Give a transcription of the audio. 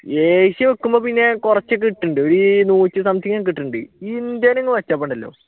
Asia വെക്കുമ്പോ പിന്നെ കുറച്ചു ഇത് കിട്ടുന്നുണ്ട് ഒരു നൂറ്റി something കിട്ടുന്നുണ്ട് ഇന്ത്യയിൽ അങ്ങ് വെച്ചപ്പോൾ ഉണ്ടല്ലോ